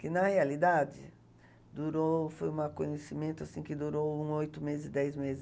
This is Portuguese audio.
Que, na realidade, durou, foi um acontecimento assim, que durou uns oito meses, dez meses.